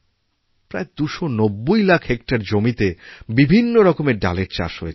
প্রায় দুশ নব্বই লাখ হেক্টর জমিতেবিভিন্নরকমের ডালের চাষ হয়েছে